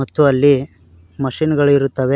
ಮತ್ತು ಅಲ್ಲಿ ಮಷೀನ್ ಗಳು ಇರುತ್ತವೆ.